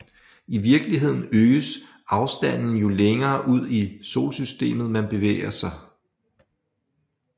I virkeligheden øges afstanden jo længere ud i Solsystemet man bevæger sig